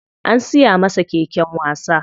An siya masa keken wasa.